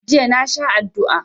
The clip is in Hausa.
Jiya na sha adua.